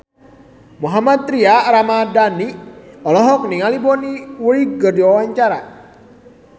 Mohammad Tria Ramadhani olohok ningali Bonnie Wright keur diwawancara